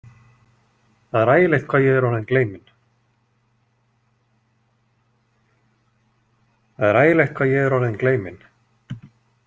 Það er ægilegt hvað ég er orðin gleymin.